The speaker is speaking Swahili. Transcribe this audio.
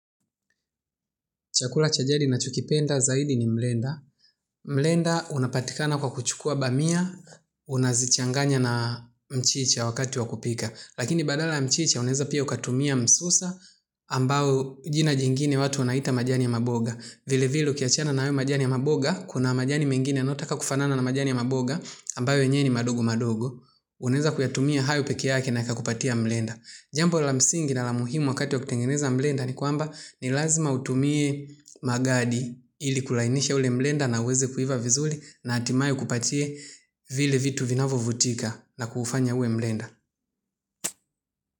Chakula cha jadi ninachokipenda zaidi ni mrenda. Mrenda unapatikana kwa kuchukua bamia, unazichanganya na mchicha wakati wa kupika. Lakini badala ya mchicha unaeza pia ukatumia msusa ambao jina jingine watu wanaita majani ya maboga. Vile vile ukiachana na hayo majani ya maboga, kuna majani mengine yanayotaka kufanana na majani ya maboga, ambao yenyewe ni madogo madogo. Unaeza kuyatumia hayo pekee yake na yakakupatia mrenda. Jambo la msingi na la muhimu wakati wa kutengeneza mrenda ni kwamba ni lazima utumie magadi ili kulainisha ule mrenda na uweze kuiva vizuri na hatimaye ukupatie vile vitu vinavyovutika na kufanya uwe mrenda.